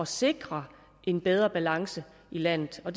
sikre en bedre balance i landet og